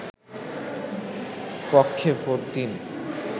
পক্ষে ভোট দেন